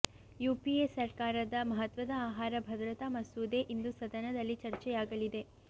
UPA ಸರ್ಕಾರದ ಮಹತ್ವದ ಆಹಾರ ಭದ್ರತಾ ಮಸೂದೆ ಇಂದು ಸದನದಲ್ಲಿ ಚರ್ಚೆಯಾಗಲಿದೆ